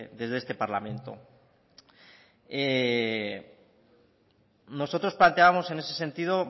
desde este parlamento nosotros planteábamos en ese sentido